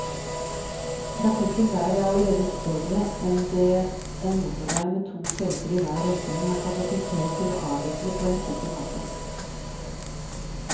Trafikken der er allerede større enn det en motorvei med to felter i hver retning har kapasitet til å avvikle på en sikker måte.